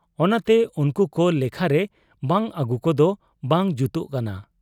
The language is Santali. ᱚᱱᱟᱛᱮ ᱩᱱᱠᱩᱠᱚ ᱞᱮᱠᱷᱟᱨᱮ ᱵᱟᱝ ᱟᱹᱜᱩᱠᱚᱫᱚ ᱵᱟᱝ ᱡᱩᱛᱚᱜ ᱠᱟᱱᱟ ᱾